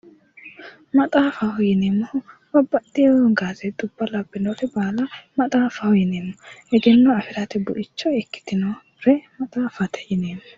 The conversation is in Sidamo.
Maxaaffaho yinneemmo woyte, babbaxeyo gaazeexa labbinore baala maxaafaho yinneemmo, egenno afirate buicho ikkitinore maxaaffate yinneemmo.